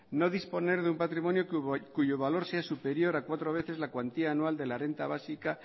no disponer de un patrimonio cuyo valor sea superior a cuatro veces la cuantía anual de la renta básica